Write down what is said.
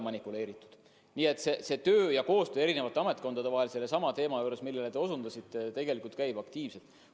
Nii et koostöö eri ametkondade vahel ka sellesama probleemi puhul, millele te osutasite, tegelikult käib aktiivselt.